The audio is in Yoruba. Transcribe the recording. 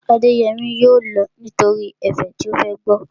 Adéyẹmí yóò lọ nítorí ẹ̀fẹ̀ tí ó fẹ́ gbọ́